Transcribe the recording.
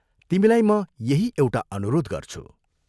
तिमीलाई म यही एउटा अनुरोध गर्छु।